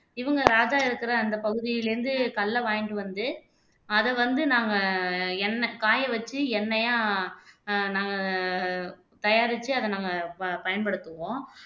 இவங்க ராஜா இருக்கிற அந்த பகுதியில இருந்து கல்லை வாங்கிட்டு வந்து அதை வந்து நாங்க எண்ணெ காய வச்சு எண்ணெய்யா ஆஹ் நாங்க தயாரிச்சு அதை நாங்க ப பயன்படுத்துவோம்